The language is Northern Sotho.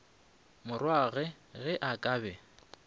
morwagwe ge a ka be